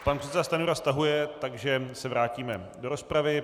Pan předseda Stanjura stahuje, takže se vrátíme do rozpravy.